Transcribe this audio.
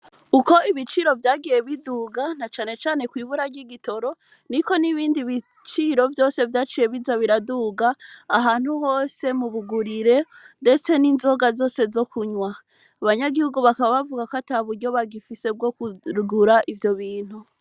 Uko ibiciro vyagiye biduga na canecane kw'ibura ry'igitoro ni ko n'ibindi biciro vyose vyaciye biza biraduga ahantu hose mubugurire, ndetse n'inzoga zose zo kunywa abanyagihugu bakabbavuga ko ata buryo bagifise bwo kugura ivyo bintu.